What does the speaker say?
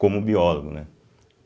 Como biólogo, né?